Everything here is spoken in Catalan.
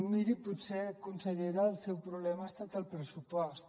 miri potser consellera el seu problema ha estat el pressupost